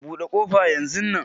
Buɗe ƙofa yanzu nan